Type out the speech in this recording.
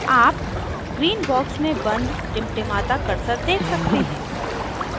आप green box में बंद टिमटिमाता cursor देख सकते हैं